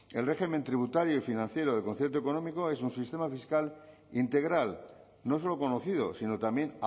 el régimen tributario y financiero del concierto económico es un sistema fiscal integral no solo conocido sino también